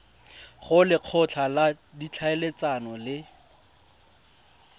go lekgotla la ditlhaeletsano le